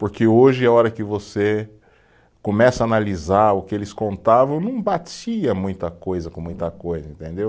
Porque hoje, a hora que você começa a analisar o que eles contavam, não batia muita coisa com muita coisa, entendeu?